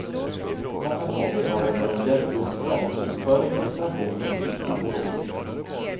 Många småföretagare behöver hjälp utifrån med bokföring, deklarationer och liknande frågor.